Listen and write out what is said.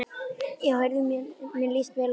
Já heyrðu, mér líst vel á það!